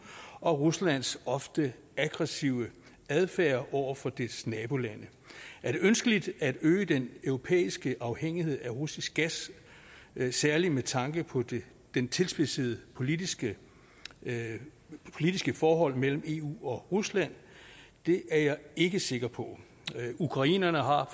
og ruslands ofte aggressive adfærd over for dets nabolande er det ønskeligt at øge den europæiske afhængighed af russisk gas særlig med tanke på de tilspidsede politiske forhold mellem eu og rusland det er jeg ikke sikker på ukrainerne har